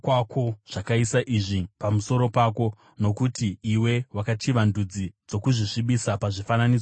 zvakaisa izvi pamusoro pako, nokuti iwe wakachiva ndudzi ndokuzvisvibisa nezvifananidzo zvadzo.